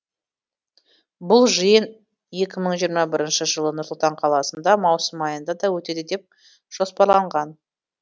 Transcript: бұл жиын екі мың жиырма бірінші жылы нұр сұлтан қаласында маусым айында өтеді деп жоспарланған